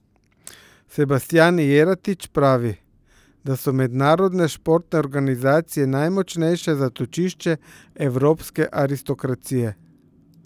Sebastjan Jeretič pravi, da so mednarodne športne organizacije najmočnejše zatočišče evropske aristokracije.